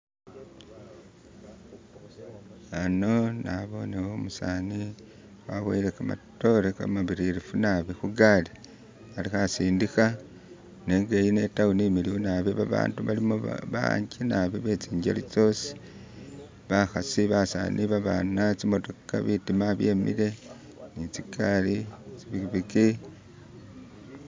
ano naboneho umusani waboyele kamatore kamabilirifu nabi hugaali aliho asindiha nenga itawuni imiliyu nabi babandu balimu babanji nabi betsinjeli tsosi bahasi basani babana tsimotoka bitima byemile nitsigali tsipikipiki